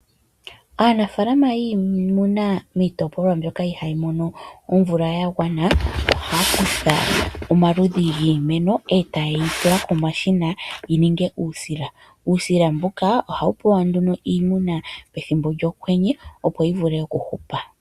Aanafaalama yiimuna miitopolwa mbyoka ihaayi mono omvula ya gwana ohaya kutha omaludhi giimeno etaye yi tula komashina yi ninge uusila. Uusila mbuka ohawu pewa nduno iimuna pethimbo lyokwenye opo yi vule okuhupa.